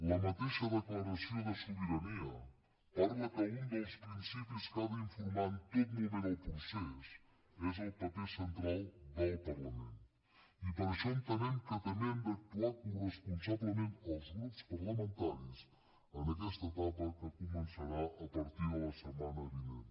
la mateixa declaració de sobirania parla que un dels principis que ha d’informar en tot moment el procés és el paper central del parlament i per això entenem que també hem d’actuar coresponsablement els grups parlamentaris en aquesta etapa que començarà a partir de la setmana vinent